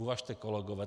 Uvažte, kolegové.